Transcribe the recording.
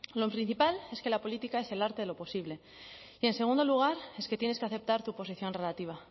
lo principal es que la política es el arte de lo posible y en segundo lugar es que tienes que aceptar tu posición relativa